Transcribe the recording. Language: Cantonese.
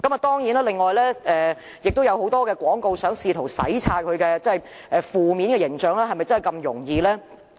當然，領展亦試圖以很多其他廣告洗擦其負面形象，但是否真的那麼容易做到呢？